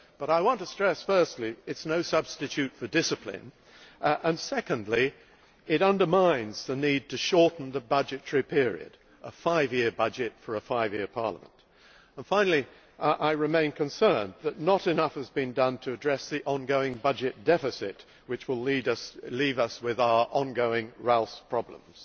However, I want to stress firstly that it is no substitute for discipline, and secondly that it underlines the need to shorten the budgetary period a five year budget for a five year parliament. Moreover, I remain concerned that not enough has been done to address the ongoing budget deficit, which will leave us with our ongoing RALS problems.